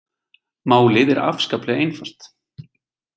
Málið er afskaplega einfalt